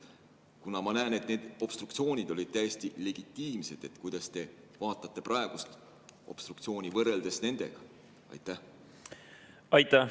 Kuna ma näen, et need obstruktsioonid olid täiesti legitiimsed, siis kuidas te vaatate praegust obstruktsiooni võrreldes nendega?